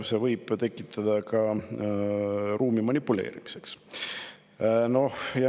… siis see annab ruumi manipuleerimiseks.